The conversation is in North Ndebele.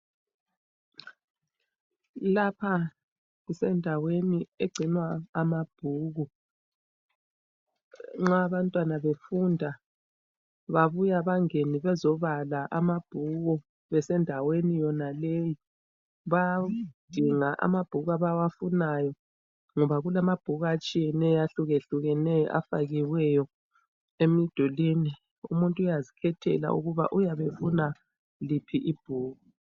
Lapha kusendaweni egcinwa amabhuku nxa abantwana befunda babuya bangena bezobala amabhuku bese ndaweni yonaleyi .Bayadinga amabhuku abawafunayo ngoba kulamabhuku atshiyeneyo ahlukahlukeneyo afakiweyo emdulini . Umuntu uyazikhethela ukuba uyabe efuna liphi ibhuku.